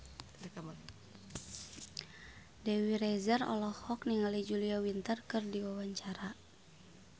Dewi Rezer olohok ningali Julia Winter keur diwawancara